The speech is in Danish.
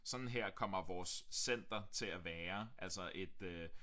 Sådan her kommer vores center til at være altså et øh